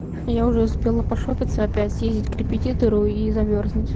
я уже успела пошопиться опять и к репетитору и замёрзнуть